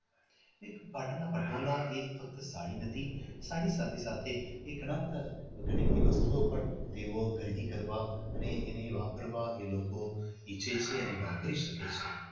એ પાટણના પટોળા એ ફક્ત સાડી નથી સાડી સાથે સાથે એ કલાત્મક વગેરે વસ્તુઓ પણ તેઓ ખરીદી કરવા અને એને વાપરવા એ લોકો એ એને દિલથી વાપરી શકે છે.